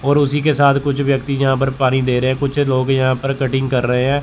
और उसी के साथ कुछ व्यक्ति यहाँ पर पानी दे रहे हैं कुछ लोग यहाँ पर कटिंग कर रहे हैं।